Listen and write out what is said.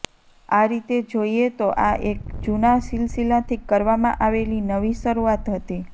આ રીતે જોઇએ તો આ એક જૂના સિલસિલાથી કરવામાં આવેલી નવી શરૂઆત હતી